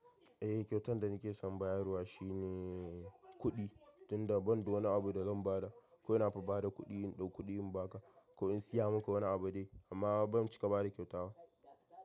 Eh kyautan da nike son bayarwa shine kuɗi, tunda banda wani abu da zan ba da. Kawai nafi bada kuɗi in ɗau kuɗi in baka, ko in siya maka wani abu dai. Amma ban cika bada kyauta ba.